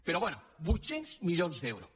però bé vuit cents milions d’euros